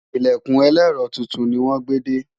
ilẹkùn elero túntùn ní wón gbé dé